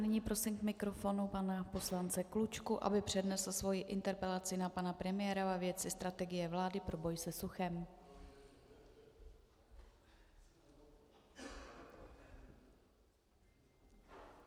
Nyní prosím k mikrofonu pana poslance Klučku, aby přednesl svoji interpelaci na pana premiéra ve věci strategie vlády pro boj se suchem.